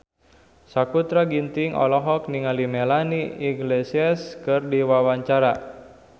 Sakutra Ginting olohok ningali Melanie Iglesias keur diwawancara